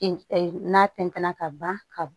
n'a tɛntɛn na ka ban ka